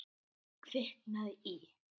Kviknað í.